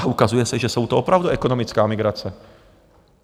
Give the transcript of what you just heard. A ukazuje se, že je to opravdu ekonomická migrace.